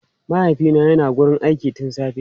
Mahaifina yana wurin aiki tun safe.